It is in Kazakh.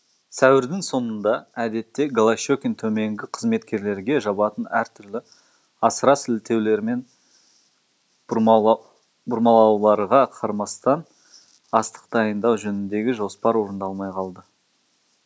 сәуірдің соңында әдетте голощекин төменгі қызметкерлерге жабатын әртүрлі асыра сілтеулер мен бұрмалауларға қарамастан астық дайындау жөніндегі жоспар орындалмай қалды